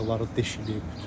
Ayaqları deşilib.